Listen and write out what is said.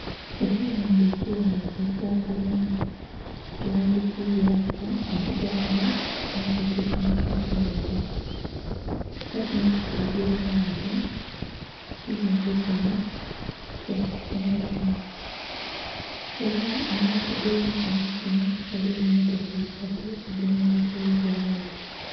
Ekizimbe ekighanvu ekya kalinha ki ghandikibwaku ekigambo"central teaching facility" era kinho kitegeza nti ekizimbe kinho kya kusomeramu, era mu maiso ge kizimbe kinho ghaligho emotoka isatu edhe merezeibwa gho.